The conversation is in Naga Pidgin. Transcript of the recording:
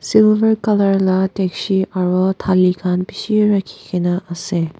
silver colour la dakji aro thali khan bishi rakhikaena ase.